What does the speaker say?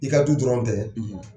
I ka du dɔrɔn tɛ